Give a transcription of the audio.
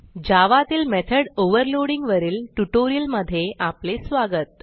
जावा तील method overloading वरील ट्युटोरियलमधे स्वागत